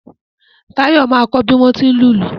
Táyọ̀ máa kọ bí wọ́n tí ń lùlù